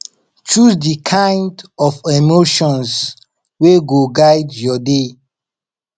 choose di kind of emotions wey go guide yur day